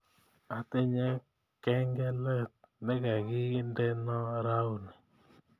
Atinye kengelet negagindeno rauni